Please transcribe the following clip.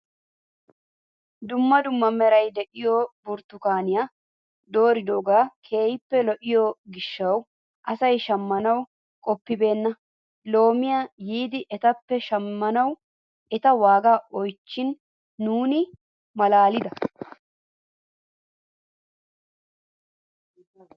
Dumma dumma meraara de'iyaa burttukaaniyaa dooridogee keehippe lo'iyoo giishshawu asay shammanawu qoppibeenna loomiyaa yiidi etappe shammanwu eta waagaa oychchin nuuni malaalida!